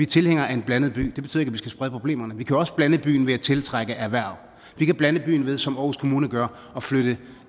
tilhængere af en blandet by det betyder ikke at vi skal sprede problemerne vi kan også blande byen ved at tiltrække erhverv vi kan blande byen ved som aarhus kommune gør at flytte